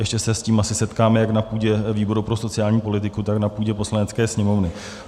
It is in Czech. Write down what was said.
Ještě se s tím asi setkáme jak na půdě výboru pro sociální politiku, tak na půdě Poslanecké sněmovny.